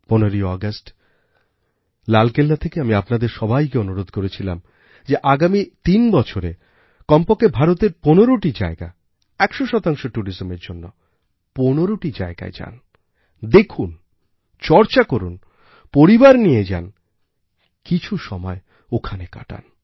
১৫ই আগস্ট লালকেল্লা থেকে আমি আপনাদের সবাইকে অনুরোধ করেছিলাম যে আগামী তিন বছরেকমপক্ষে ভারতের ১৫টি জায়গা ১০০শতাংশ tourismএর জন্য ১৫টি জায়গায় যান দেখুনচর্চা করুন পরিবার নিয়ে যান কিছু সময় ওখানে কাটান